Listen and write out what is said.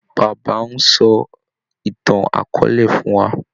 Bàbá ń sọ ìtàn akọọ́lẹ̀ fún wà.